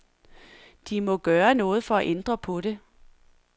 De må gøre noget for at ændre på det.